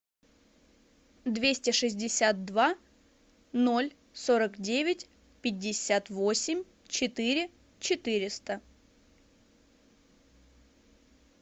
двести шестьдесят два ноль сорок девять пятьдесят восемь четыре четыреста